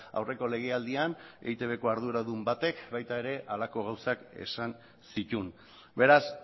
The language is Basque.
aurreko legealdian eitbko arduradun batek baita ere halako gauzak esan zituen beraz